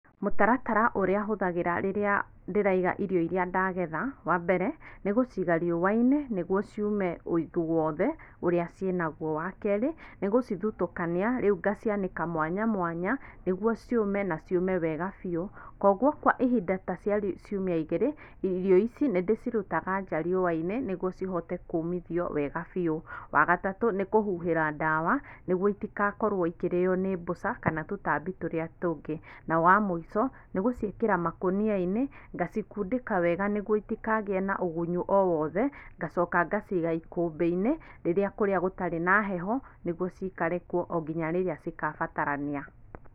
Mũtaratara ũrĩa hũthagĩra rĩrĩa ndĩraiga irio iria ndagetha, wa mbere, nĩgũciiga riũa-inĩ, nĩguo ciume ũigũ wothe ũrĩa ciĩnaguo. Wa kerĩ, nĩgũcithutũkania, rĩu ngacianĩka mwanya mwanya, nĩguo ciũme na ciũme wega biũ, koguo kwa ihinda ta rĩa ciumia igĩrĩ, irio ici nĩndĩcirutaga nja riũa-inĩ nĩguo cihote kũmithio wega biũ. Wa gatatũ, nĩkũhuhĩra ndawa, nĩguo itigakorwo ikĩrĩo nĩ mbũca, kana tũtambi tũrĩa tũngĩ, na wamũico, nĩgũciĩkĩra makũnia-inĩ, ngacikundĩka wega nĩguo itikagĩe na ũgunyu owothe, ngacoka ngaciga ikũmbĩ-inĩ, rĩrĩa kũrĩa gũtarĩ na heho, nĩguo cikare kuo onginya rĩrĩa cigabatarania.